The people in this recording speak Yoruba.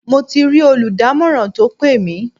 Mo ti rí olùdámọ̀ràn tó pè mí.